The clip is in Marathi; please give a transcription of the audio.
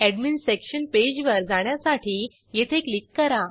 एडमिन सेक्शन पेजवर जाण्यासाठी येथे क्लिक करा